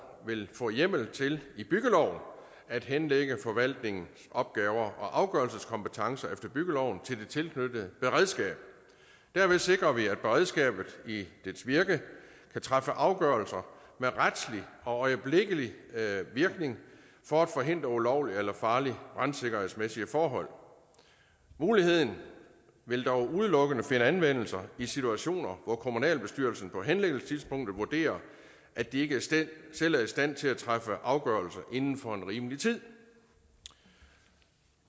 vil få hjemmel til i byggeloven at henlægge forvaltningsopgaver og afgørelseskompetence efter byggeloven til de tilknyttede beredskaber derved sikrer vi at beredskabet i dets virke kan træffe afgørelser med retslig og øjeblikkelig virkning for at forhindre ulovlige eller farlige brandsikkerhedsmæssige forhold muligheden vil dog udelukkende finde anvendelse i situationer hvor kommunalbestyrelsen på henlæggelsestidspunktet vurderer at de ikke selv er i stand til at træffe afgørelse inden for en rimelig tid